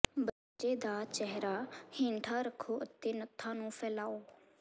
ਬੱਚੇ ਦਾ ਚਿਹਰਾ ਹੇਠਾਂ ਰੱਖੋ ਅਤੇ ਨੱਥਾਂ ਨੂੰ ਫੈਲਾਓ